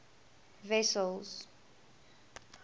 wessels